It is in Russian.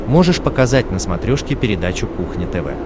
можешь показать на смотрешке передачу кухня тв